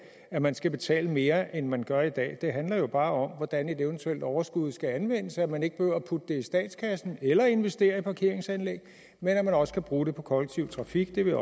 at man skal betale mere end man gør i dag det handler bare om hvordan et eventuelt overskud skal anvendes at man ikke behøver at putte det i statskassen eller investere i parkeringsanlæg men at man også kan bruge det på den kollektive trafik det vil